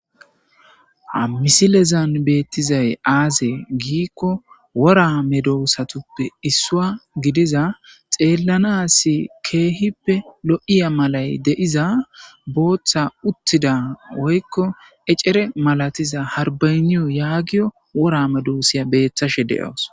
hamisilezan beettizay aaze giikko wora me doossatuppe issua gidiza xeellanasi keehippe lo7iya malay de7iza booththa uttida woykko ecere malatiza harbayniyo yaagiyo worame doossiya beeththashe de7aos